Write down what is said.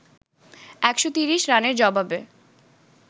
১৩০ রানের জবাবে